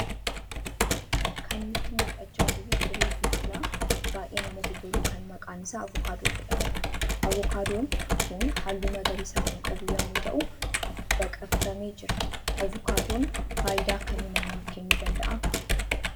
Kan nutti mul'achaa jiru firii biqilaa baay'ee namatti tolu kan maqaan isaa Avokaadoo jedhamuudha. Avokaadoon kun halluu magariisaa kan qabu yammuu ta'u baqaffamee jira. Avokaadoon faayidaa akkamii namaaf kennuu danda'aa?